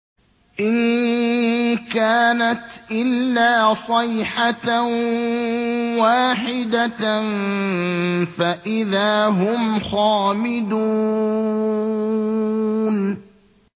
إِن كَانَتْ إِلَّا صَيْحَةً وَاحِدَةً فَإِذَا هُمْ خَامِدُونَ